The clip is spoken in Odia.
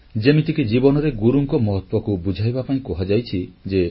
ଯେମିତିକି ଜୀବନରେ ଗୁରୁଙ୍କ ମହତ୍ୱକୁ ବୁଝାଇବା ପାଇଁ କୁହାଯାଇଛି ଯେ